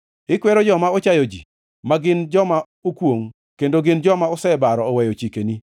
Ikwero joma ochayo ji, ma gin joma okwongʼ, kendo gin joma osebaro oweyo chikeni.